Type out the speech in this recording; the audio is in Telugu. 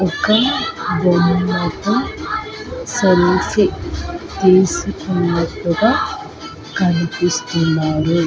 ఒక బొమ్మతో సెల్ఫీ తీసుకున్నట్టుగా కనిపిస్తున్నాయి.